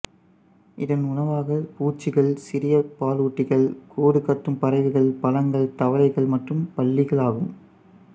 இதன் உணவாகப் பூச்சிகள் சிறிய பாலூட்டிகள் கூடு கட்டும் பறவைகள் பழங்கள் தவளைகள் மற்றும் பல்லிகள் ஆகும்